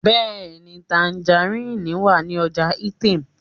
Bẹẹni, tangerine wa ni ọja Itam